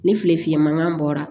Ni file fiyɛ mankan bɔra